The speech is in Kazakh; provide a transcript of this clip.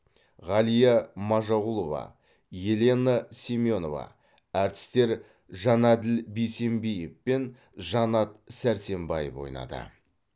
ғалия мажағұлова елена семенова әртістер жанәділ бейсембиев пен жанат сәрсембаев ойнады